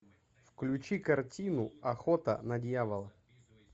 включи картину охота на дьявола